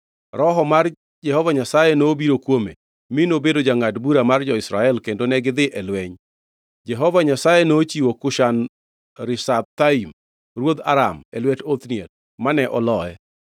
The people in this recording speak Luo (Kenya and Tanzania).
Roho mar Jehova Nyasaye nobiro kuome, mi nobedo jangʼad bura mar jo-Israel kendo negidhi e lweny. Jehova Nyasaye nochiwo Kushan-Rishathaim ruodh Aram e lwet Othniel, mane oloye.